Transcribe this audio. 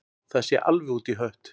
Það sé alveg út í hött